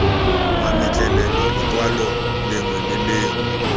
mametlelelo lekwalo lengwe le lengwe